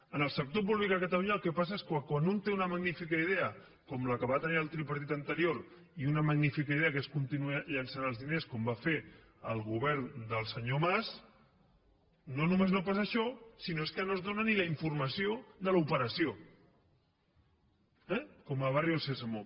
en el sector públic a catalunya el que passa és que quan un té una magnífica idea com la que va tenir el tripartit anterior i una magnífica idea que és continuar llençant els diners com va fer el govern del senyor mas no només no passa això sinó que no es dóna ni la informació de l’operació eh com a barrio sésamo